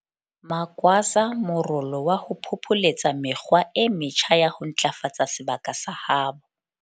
Magwaza morolo wa ho phopholetsa mekgwa e metjha ya ho ntlafatsa sebaka sa habo.